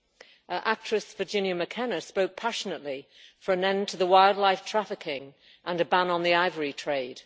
The actress Virginia McKenna spoke passionately for an end to wildlife trafficking and a ban on the ivory trade.